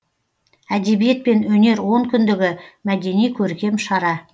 әдебиет пен өнер онкүндігі мәдени көркем шара